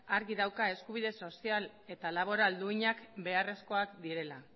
argi dauka eskubide sozial eta laboral duinak beharrezkoak direla